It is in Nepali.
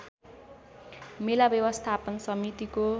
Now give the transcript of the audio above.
मेला व्यवस्थापन समितिको